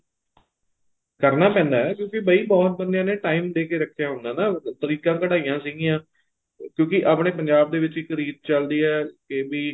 ਕਰਨਾ ਪੈਂਦਾ ਕਿਉਂਕਿ ਬਾਈ ਬਹੁਤ ਬੰਦਿਆਂ ਨੇ time ਦੇ ਕੇ ਰੱਖਿਆ ਹੁੰਦਾ ਨਾ ਤਰੀਕਾਂ ਕਢਾਈਆਂ ਸੀਗੀਆਂ ਕਿਉਂਕਿ ਆਪਣੇਂ ਪੰਜਾਬ ਦੇ ਵਿੱਚ ਰੀਤ ਚੱਲਦੀ ਏ ਕੇ ਵੀ